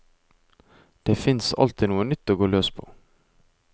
Det finnes er alltid noe nytt å gå løs på.